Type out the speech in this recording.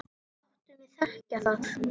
Láttu mig þekkja það!